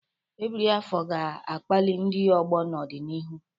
Ebiri afọ ga-akpali ndị ọgbọ n'ọdịnihu.